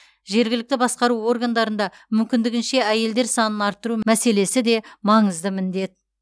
жергілікті басқару органдарында мүмкіндігінше әйелдер санын арттыру мәселесі де маңызды міндет